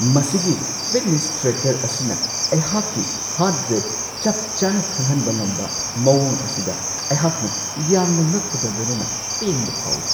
ꯃꯁꯤꯒꯤ fitness tracker ꯑꯁꯤꯅ ꯑꯩꯍꯥꯛꯀꯤ ꯍꯥꯔꯠ ꯔꯦꯠ ꯆꯞ ꯆꯥꯅ ꯈꯪꯍꯟꯕ ꯉꯝꯕ ꯃꯋꯣꯡ ꯑꯁꯤꯗ ꯑꯩꯍꯥꯛꯅ ꯌꯥꯝꯅ ꯉꯛꯄꯒ ꯂꯣꯏꯅꯅ ꯄꯦꯟꯕ ꯐꯥꯎꯋꯤ ꯫